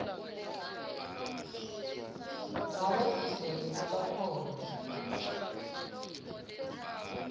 ngabe ucele kubakhona